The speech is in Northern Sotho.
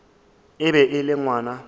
e be e le ngwana